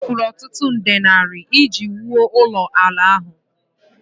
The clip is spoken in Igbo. O mefuru ọtụtụ nde naira iji wuo ụlọala ahụ